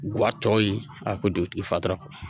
Guwa tɔ ye a ko don i fatura